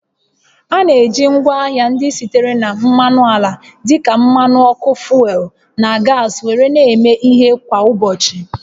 A na-eji ngwaahịa ndị sitere na mmanụ ala dịka mmanụ ọkụ fuel na gas were na-eme ihe kwa ụbọchị